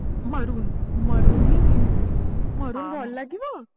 maroon maroon ହିଁ କିଣିବି maroon ଭଲ ଲାଗିବ